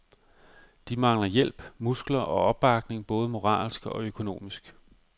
De mangler hjælp, muskler og opbakning, både moralsk og økonomisk.